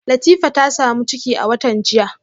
Latifa ta samu ciki a watan jiya